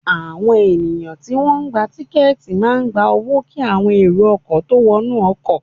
Àwọn ènìyàn tí wọ́n ń gba tiketi máa gba owó kí àwọn èrò ọkọ̀ tó wọnú ọkọ̀